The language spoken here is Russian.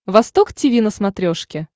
восток тиви на смотрешке